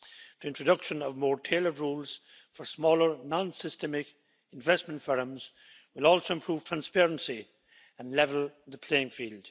The introduction of more tailored rules for smaller, non systemic investment firms will also improve transparency and level the playing field.